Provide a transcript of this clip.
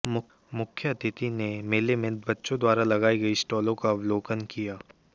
मुख्य अतिथि ने मेले में बच्चों द्वारा लगाई गईं स्टालों का अवलोकन किया